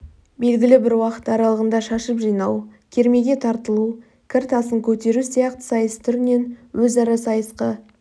белгілі бір уақыт аралығында шашып-жинау кермеге тартылу кір тасын көтеру сияқты сайыс түрінен өзара сайысқа